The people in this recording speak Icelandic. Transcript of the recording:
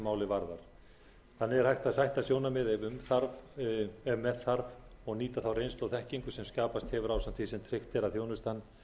þannig er hægt að sætta sjónarmið ef með þarf og nýta þá reynslu og þekkingu sem skapast hefur ásamt því sem tryggt er að þjónustan